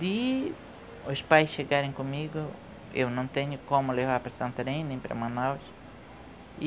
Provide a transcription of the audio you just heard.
De os pais chegarem comigo, eu não tenho como levar para Santarém, nem para Manaus.